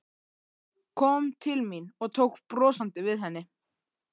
Kom til mín og tók brosandi við henni.